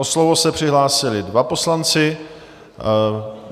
O slovo se přihlásili dva poslanci.